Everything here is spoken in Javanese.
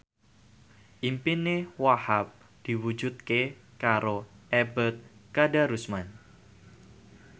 impine Wahhab diwujudke karo Ebet Kadarusman